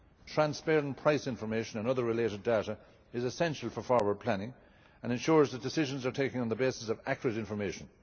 Transparent price information and other related data is essential for forward planning and ensures that decisions are taken on the basis of accurate information.